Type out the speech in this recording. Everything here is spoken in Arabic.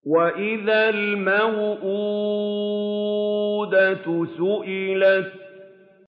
وَإِذَا الْمَوْءُودَةُ سُئِلَتْ